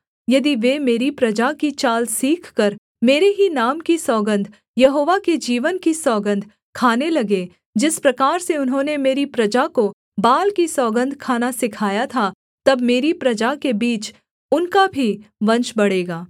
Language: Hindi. यदि वे मेरी प्रजा की चाल सीखकर मेरे ही नाम की सौगन्ध यहोवा के जीवन की सौगन्ध खाने लगें जिस प्रकार से उन्होंने मेरी प्रजा को बाल की सौगन्ध खाना सिखाया था तब मेरी प्रजा के बीच उनका भी वंश बढ़ेगा